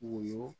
Woyo